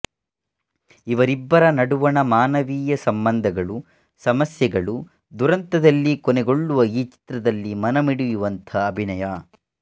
ಇವರಿಬ್ಬರ ನಡುವಣ ಮಾನವೀಯ ಸಂಬಂಧಗಳು ಸಮಸ್ಯೆಗಳು ದುರಂತದಲ್ಲಿ ಕೊನೆಗೊಳ್ಳುವ ಈ ಚಿತ್ರದಲ್ಲಿ ಮನಮಿಡಿಯುವಂತಹ ಅಭಿನಯ